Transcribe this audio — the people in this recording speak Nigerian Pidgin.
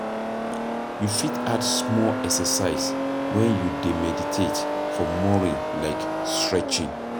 You fit add small exercise when you dey meditate for morning like stretching